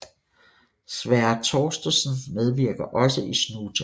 Sverre Thorstensen medvirker også i Snuten